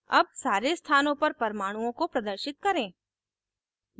अब सारे स्थानों पर परमाणुओं को प्रदर्शित करें